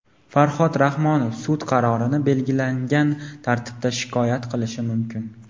Farhod Rahmonov sud qarorini belgilangan tartibda shikoyat qilishi mumkin.